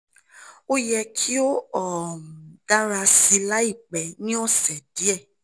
o yẹ ki o um dara si laipẹ ni ọsẹ diẹ